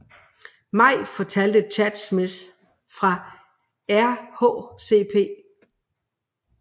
Maj fortalte Chad Smith om RHCP